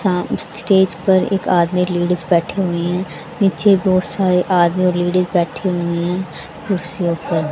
सा सामने स्टेज पर एक आदमी लेडिस बैठी हुई हैं नीचे बहुत सारे आदमी और लेडिस बैठी हुए हैं कुर्सियों पर।